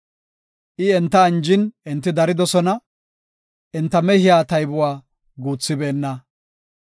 I enta anjin enti daridosona; enta mehiya taybuwa guuthibeenna.